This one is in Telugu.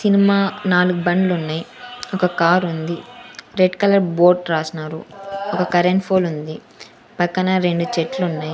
సినిమా నాలుగు బండ్లున్నయ్ ఒక కారుంది రెడ్ కలర్ బోట్ రాశ్నారు ఒక కరెంట్ ఫోల్ ఉంది పక్కన రెండు చెట్లున్నాయ్.